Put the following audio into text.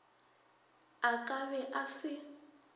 a ka be a se